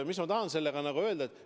Mis ma tahan sellega öelda?